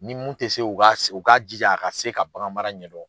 Ni mun tɛ se u ka ji a ka se ka baganmara ɲɛdɔn.